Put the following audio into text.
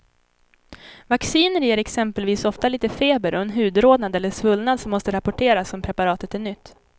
Vacciner ger exempelvis ofta lite feber och en hudrodnad eller svullnad som måste rapporteras om preparatet är nytt.